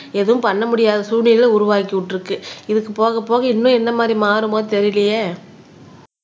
எதுவும் பண்ண முடியாத சூழ்நிலை உருவாக்கி விட்டுருக்கு இதுக்கு போக போக இன்னும் என்ன மாதிரி மாறுமோ தெரியலயே